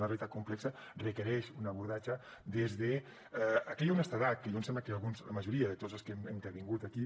una realitat complexa requereix un abordatge des d’aquella honestedat que jo em sembla que alguns la majoria de tots els que hem intervingut aquí